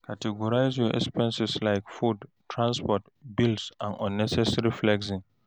Categorize your expenses like food, transport, bills and unnecessary flexing.